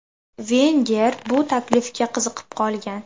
Venger bu taklifga qiziqib qolgan.